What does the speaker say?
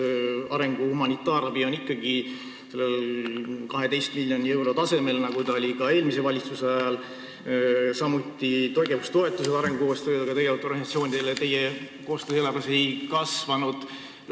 Arengu- ja humanitaarabi on ikkagi 12 miljonit eurot, nagu see oli ka eelmise valitsuse ajal, samuti ei ole arengukoostööga tegelevate organisatsioonide tegevustoetus kasvanud.